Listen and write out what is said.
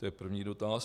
To je první dotaz.